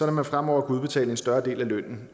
at man fremover kan udbetale en større del af lønnen